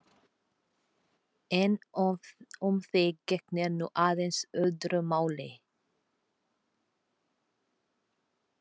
En um þig gegnir nú aðeins öðru máli.